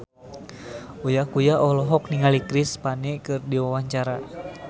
Uya Kuya olohok ningali Chris Pane keur diwawancara